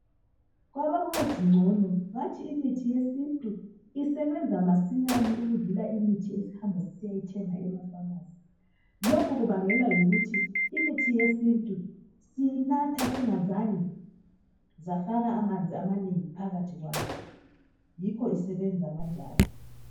Kwabakwazi ngcono bathi imithi yesintu isebenza masinyane ukudlula imithi esihamba sisiya yithenga amafamasi. Lokho kubangelwa yikuthi imithi yesintu siyinatha singazange safaka amanzi amanengi phakathi kwayo. Yikho isebenza kanjalo.